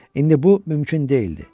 İndi bu mümkün deyildi.